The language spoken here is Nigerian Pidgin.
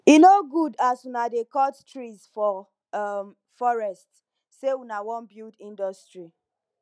e no good as una dey cut trees for um forest sey una wan build industry